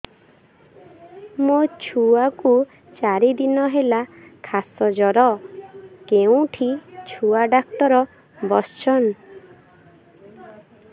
ମୋ ଛୁଆ କୁ ଚାରି ଦିନ ହେଲା ଖାସ ଜର କେଉଁଠି ଛୁଆ ଡାକ୍ତର ଵସ୍ଛନ୍